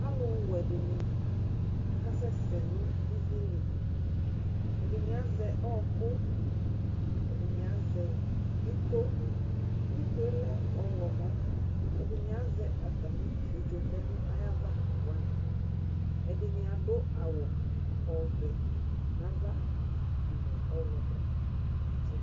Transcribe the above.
Alʊwɛ dɩnɩ aka sɛsɛ nʊ ɩvɩ lɩ Ɛdɩnɩ azɛ ɔyɔkʊ, ɛdɩnɩ azɛ ɩko Ɩko lɛ ɔwlɔmɔ Ɛdɩnɩ azɛ atamɩ ɩfɩetso vlɛ nayava wanɩ Ɛdinɩ adʊ awʊ vɛ nava nʊ ɔwlɔmɔ atsɩdʊ